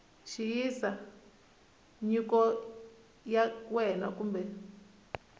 xiyisisa nyiko ya wena kumbe